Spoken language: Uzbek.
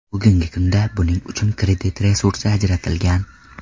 Bugungi kunda buning uchun kredit resursi ajratilgan.